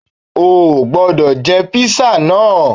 Ó ò gbọ́dọ̀ jẹ́ Písà náà